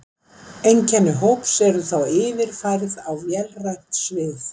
Einkenni hóps eru þá yfirfærð á vélrænt svið.